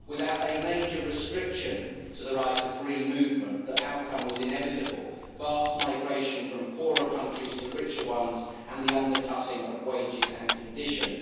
Without major restriction of the right of free movement, the outcome was inevitable vast migration from poorer countries to richer ones and the undercutting of wages and conditions.